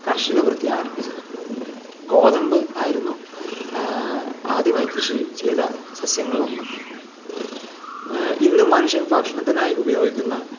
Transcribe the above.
കർഷക വൃത്തി ആരംഭിച്ചത് ഗോതമ്പ് ആയിരുന്നു ആഹ്ഹ